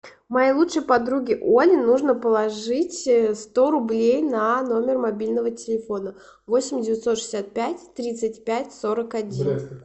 моей лучшей подруге оле нужно положить сто рублей на номер мобильного телефона восемь девятьсот шестьдесят пять тридцать пять сорок один